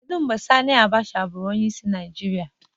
Kedu mgbe Sani Abacha bụrụ onyeisiala Naịjirịa?